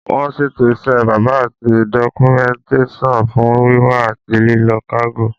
Wọ́n ṣètò iṣẹ́ bébà àti dọ́kúmẹ́ǹtẹ́sàn fún wíwá àti lílọ kágò